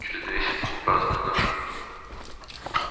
через месяц мы празднуем нашу